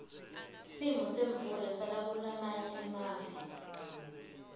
simo semvula sakulamanye amave